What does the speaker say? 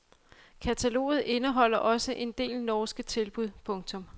Kataloget indeholder også en del norske tilbud. punktum